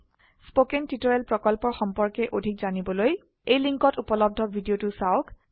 spoken tutorial প্ৰকল্পৰ সম্পৰ্কে অধিক জানিবলৈ এই লিঙ্কত উপলব্ধ ভিডিওটো চাওক